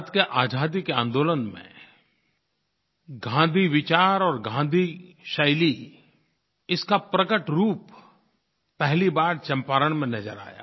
भारत की आज़ादी के आन्दोलन में गाँधी विचार और गाँधी शैली इसका प्रकट रूप पहली बार चंपारण में नज़र आया